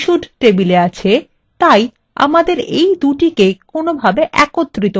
আমাদের এই দুটিকে কোনভাবে একত্রিত করতে হবে